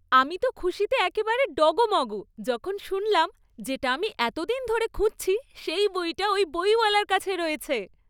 আমি তো খুশিতে একেবারে ডগমগ যখন শুনলাম যেটা আমি এতদিন ধরে খুঁজছি সেই বইটা ওই বইওয়ালার কাছে রয়েছে।